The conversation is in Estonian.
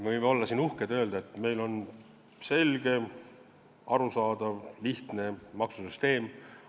Me võime olla siin uhked ja öelda, et meil on selge, arusaadav, lihtne maksusüsteem.